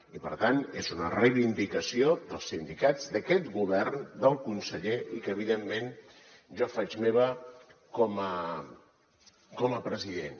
i per tant és una reivindicació dels sindicats d’aquest govern del conseller i que evidentment jo faig meva com a president